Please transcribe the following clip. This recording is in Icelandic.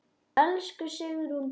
Elsku Sigrún Birna.